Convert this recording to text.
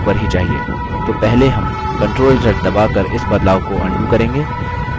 तो पहले हम ctrl + z दबाकर इस बदलाव को undo करेंगे